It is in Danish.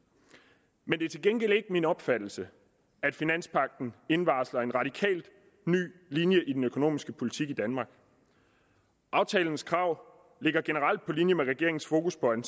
men det er til gengæld ikke min opfattelse at finanspagten indvarsler en radikal ny linje i den økonomiske politik i danmark aftalens krav ligger generelt på linje med regeringens fokus på en